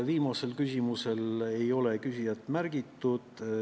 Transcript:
Viimase küsimuse puhul ei ole küsijat märgitud.